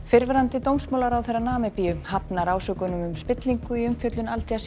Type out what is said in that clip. fyrrverandi dómsmálaráðherra Namibíu hafnar ásökunum um spillingu í umfjöllun Al